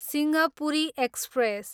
Simhapuri express